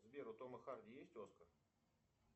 сбер у тома харди есть оскар